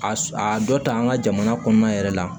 A s a dɔ ta an ka jamana kɔnɔna yɛrɛ la